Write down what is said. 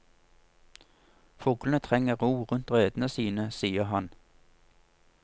Fuglene trenger ro rundt redene sine, sier han.